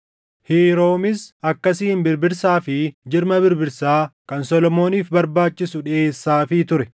Hiiroomis akkasiin birbirsaa fi jirma birbirsaa kan Solomooniif barbaachisu dhiʼeessaafii ture.